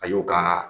A y'o ka